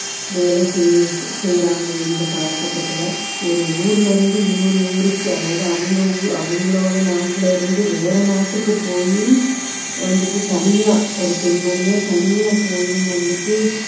வேலை செய்~ செய்யுறாங்க இந்த காலகட்டத்துல ஒரு ஊர்ல இருந்து இன்னொரு ஊருக்கு அதாவது அவங்க ஊ~ அவங்களோட நாட்டிலிருந்து வேற நாட்டுக்கு போயும் வந்துட்டு தனியா ஒரு பெண்மணியா தனியா போயும் வந்துட்டு